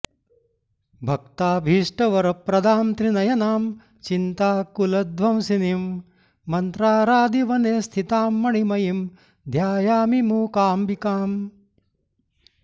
भक्ताभीष्टवरप्रदां त्रिनयनां चिन्ताकुलध्वंसिनीं मन्त्रारादि वने स्थितां मणिमयीं ध्यायामि मूकाम्बिकाम्